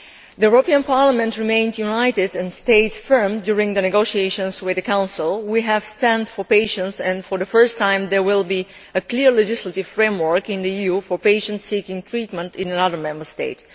The Parliament remained united and stayed firm during the negotiations with the Council. We stood for patients and, for the first time, there will be a clear legislative framework in the EU for patients seeking treatment in another Member State.